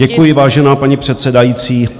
Děkuji, vážená paní předsedající.